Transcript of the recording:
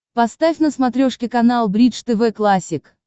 поставь на смотрешке канал бридж тв классик